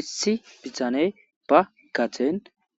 issi bitaney ba gaden